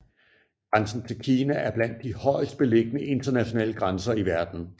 Grænsen til Kina er blandt de højest liggende internationale grænser i verden